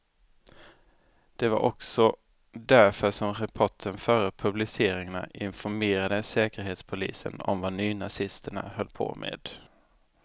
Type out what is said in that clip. Det var också därför som reportern före publiceringarna informerade säkerhetspolisen om vad nynazisterna höll på med.